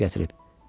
Çay gətirib.